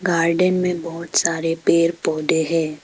Garden में बहुत सारे पेड़ पौधें है।